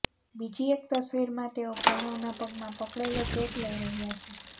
બીજી એક તસવીરમાં તેઓ પ્રણવના પગમાં પકડેલો ચેક લઈ રહ્યા છે